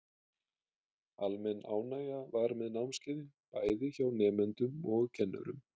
Almenn ánægja var með námskeiðin, bæði hjá nemendum og kennurum.